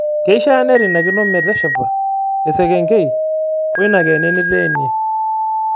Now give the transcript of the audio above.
Keishaa neirinakino meteshepa esekenkei oina Keene niteenie.